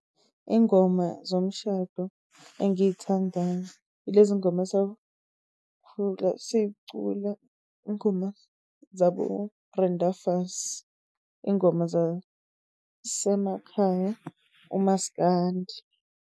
Ingoma zomshado engiy'thandayo ilezi ngoma esakhula siy'cula, ingoma zaboBrenda Fassie. Ingoma zasemakhaya uMaskandi.